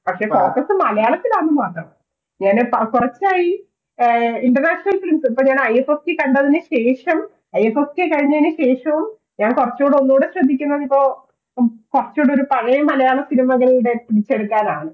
പക്ഷേ Focus മലയാളത്തിലാന്നു മാത്രം ഞാനീ കുറച്ചായി International Films ഇപ്പോൾ ഞാൻ i f f k കണ്ടതിനുശേഷവും ഞാൻ കുറച്ചുകൂടി ഒന്നൂടെ ശ്രദ്ധിക്കുന്നത് ഇപ്പോൾ കുറച്ചുകൂടി ഒരു മലയാള പഴയ cinema കൾ കൂടെ തിരിച്ചെടുക്കാനാണ്